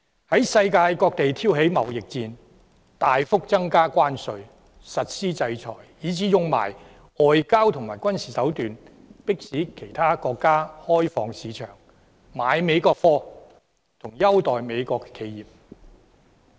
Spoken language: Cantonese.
在世界各地挑起貿易戰、大幅增加關稅、實施制裁，以至運用外交和軍事手段，迫使其他國家開放市場、購買美國貨及優待美國企業。